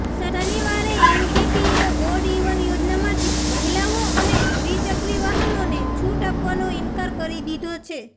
શનિવારે એનજીટીએ odd even યોજનામાંથી મહિલાઓ અને દ્વિચક્રી વાહનોને છૂટ આપવાનો ઈન્કાર કરી દીધો છે